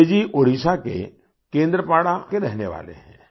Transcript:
बिजय जी ओड़िशा के केंद्रपाड़ा के रहने वाले हैं